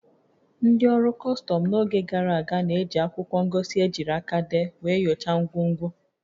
Ndị ọrụ kọstọm n'oge gara aga na-eji akwụkwọ ngosi ejiri aka dee wee nyochaa ngwongwo